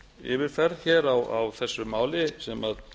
yfirferð hér á þessu máli sem